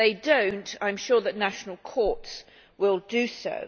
If they do not, I am sure that national courts will do so.